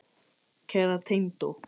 Kæra tengdó.